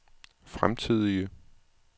fremtidige